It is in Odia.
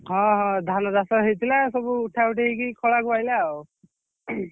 ହଁ ହଁ ଧାନ ଚାଷ ହେଇଥିଲା ସବୁ ଉଠାଉଠି ହେଇକି ଖଲାକୁ ଆଇଲା ଆଉ।